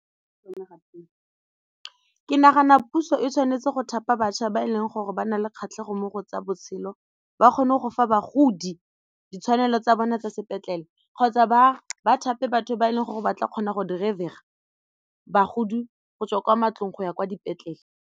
Ke nagana puso e tshwanetse go thapa bašwa ba e leng gore ba na le kgatlhego mo go tsa botshelo ba kgone go fa bagodi ditshwanelo tsa bone tsa sepetlele kgotsa ba thape batho ba e leng gore ba tla kgona go bagodi go tswa kwa mantlong go ya kwa dipetlele.